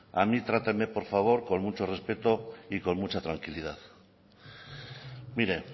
a mí trátame por favor con mucho respeto y con mucha tranquilidad mire